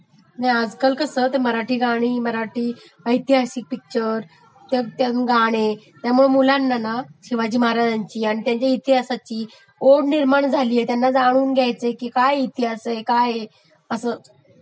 नाही आज काल कसं ते मराठी गाणी , मराठी ऐतिहासिक पिक्चर त्यातली गाणे त्यमुळे कसं मुलांना ना शिवाजी महाराज आणि शिवाजी महाराज्यांच्या इतिहासाची ओढ वाटू लागली, त्यांना जाणून घ्याचय काय इतिहास आहे हे काय आहे असं...